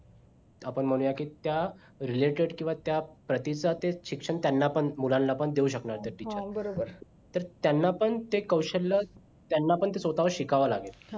आपण म्हणूया की त्या related किंवा त्या प्रतिसाद चे शिक्षण त्यांना पण मुलांला पण देऊ शकणार त्या teacher तर त्यांना पण ते कौशल्य त्यांना पण ते स्वतःव शिकावं लागेल